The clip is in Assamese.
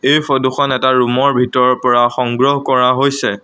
এই ফটোখন এটা ৰুমৰ ভিতৰৰ পৰা সংগ্ৰহ কৰা হৈছে।